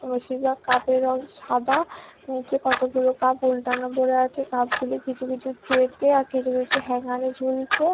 আবার কাপ এর সাদা নিচে কতগুলো কাপ উল্টানো পরে আছে কাপ গুলি কিছু কিছু ট্রে তে আর কিছু কিছু হ্যাঙ্গার এ ঝুলছে।